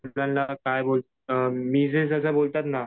काय मिजेज जसं बोलतात ना